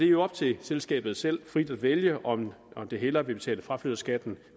jo op til selskabet selv frit at vælge om det hellere vil betale fraflytterskatten